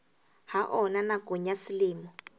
ha ona nakong ya selemo